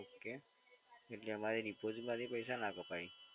Okay. એટલે અમારી ડિપોઝિટમાંથી પૈસા ના કપાય.